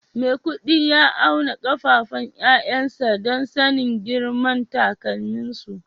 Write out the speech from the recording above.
Maikudi ya auna kafafun 'ya'yansa don sanin girman takalminsu